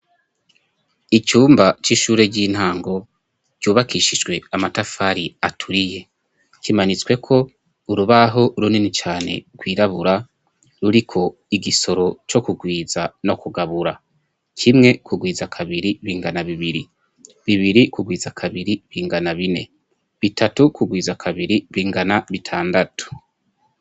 Icumba c'ishure ry'intango ryubakishijwe amatafari aturiye kimanitsweko urubaho runini cane rwirabura ruriko igisoro co kugwiza no kugabura, kimwe kugwiza kabiri bingana bibiri, bibiri kugwiza kabiri bingana bine, bitatu kugwiza kabiri bingana bitandatu.